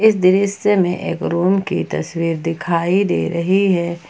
इस दृश्य में एक रूम की तस्वीर दिखाई दे रही हैं।